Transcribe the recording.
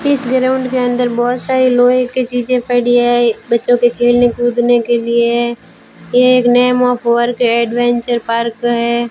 इस ग्राउंड के अंदर बहोत सारे लोहे कि चीजे पड़ी हैं बच्चों के खेलने कूदने के लिए ये एक name of work adventure park हैं।